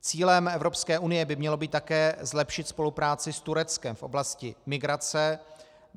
Cílem Evropské unie by mělo být také zlepšit spolupráci s Tureckem v oblasti migrace.